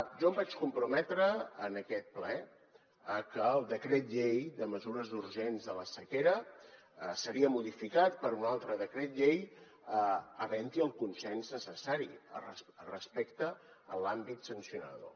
jo em vaig comprometre en aquest ple a que el decret llei de mesures urgents de la sequera seria modificat per un altre decret llei havent hi el consens necessari respecte a l’àmbit sancionador